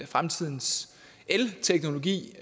fremtidens elteknologi